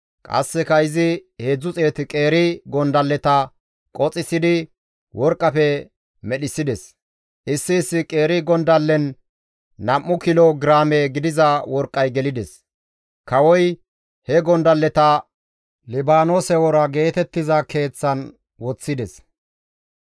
Qasseka izi 300 qeeri gondalleta qoxxissidi worqqafe medhissides; issi issi qeeri gondallen nam7u kilo giraame gidiza worqqay gelides; kawoy he gondalleta, «Libaanoose Wora Keeth» geetettiza keeththan woththides.